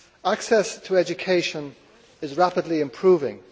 Access to education is rapidly improving.